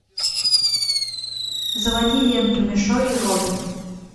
заводи ленту мишо и робин